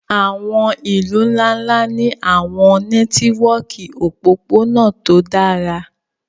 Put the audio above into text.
àwọn ilu nla-nla ni àwọn nẹtiwọki opopona to dara